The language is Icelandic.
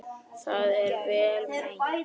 Það er vel meint.